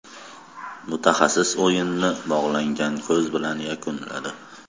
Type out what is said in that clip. Mutaxassis o‘yinni bog‘langan ko‘z bilan yakunladi.